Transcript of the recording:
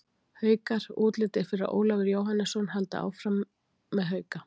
Haukar: Útlit er fyrir að Ólafur Jóhannesson haldi áfram með Hauka.